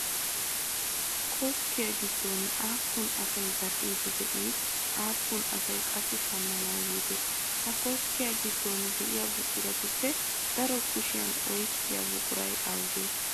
Koskkiyaa gidoon aapun asay zadhdhiide de'ii aapun asay qassi shammanawu yiide? Ha koskkiya gidoon de'iya buquratuppe daro kushiyaa oyiqiya buquray awuge?